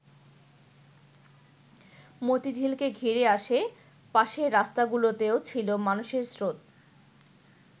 মতিঝিলকে ঘিরে আশে-পাশের রাস্তাগুলোতেও ছিল মানুষের স্রোত।